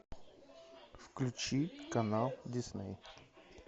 включи канал дисней